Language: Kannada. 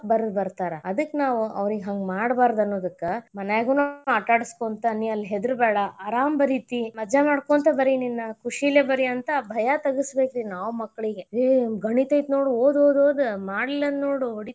ಬರದ್ ಬರ್ತಾರ ಅದಕ್ಕ್ ನಾವು ಅವ್ರಿಗೆ ಹಂಗ್ ಮಾಡಬಾರದ್ ಅನ್ನದಕ್ಕ ಮನ್ಯಾಗನು ಆಟ ಆಡಸ್ಕೊಂತ ನೀ ಅಲ್ಲಿ ಹೆದರಬೇಡಾ ಆರಾಮ ಬರಿತಿ ಮಜಾ ಮಾಡ್ಕೊಂತ ಬರಿ ನಿನ ಕುಶಿಲೇ ಬರಿ ಅಂತ ಭಯಾ ತಗಸಬೇಕರಿ ನಾವ್ ಮಕ್ಕಳಿಗೆ. ಏ ಗಣಿತ ಐತ್ನೋಡ್ ಓದ್ ಓದ್ ಮಾಡ್ಲಿಲ್ಲಾ ಅದ್ರ ನೋಡು.